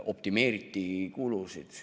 Optimeeriti kulusid.